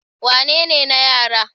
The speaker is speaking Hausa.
wanne ne na yara?